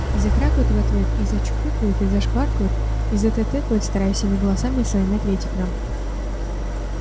и закрякают в ответ и зачуфыкают и зашваркают и затэтэкают стараясь всеми голосами своими ответить нам